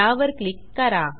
त्यावर क्लिक करा